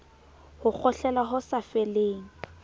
ho kgohlela ho sa feleng